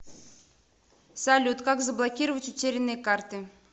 салют как заблокировать утерянные карты